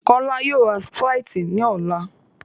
Kọ́lá yóò ra Sprite ní ọ̀la